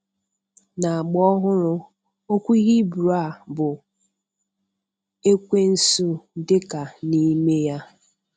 N'agba ọhụrụ, okwu Hibru a bụ"ekwensu" dịka n'ime ya.